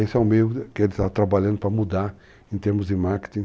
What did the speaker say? Esse é o meio que ele está trabalhando para mudar em termos de marketing.